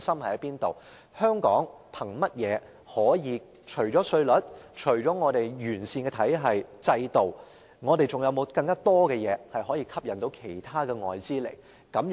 香港除了稅率及完善的制度外，我們還有何優勢可以吸引其他外資呢？